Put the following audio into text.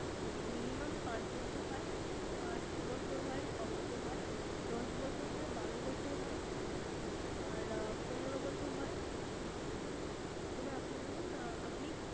এবার Minimum পাঁচ বছর হয়, পাঁচ বছর হয়, ছয় বছর হয়, দশ বছর, বারো বছর হয়, আর পনেরো বছর হয় এবার আপনি বলুন আপনি?